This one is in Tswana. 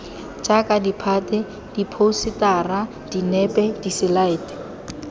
jaaka ditphate diphousetara dinepe diselaete